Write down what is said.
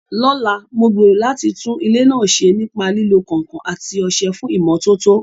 Lọ́la, mo gbèrò láti tún ilé náà ṣe nípa lílo kànkàn àti ọṣẹ fún ìmọ́tótó.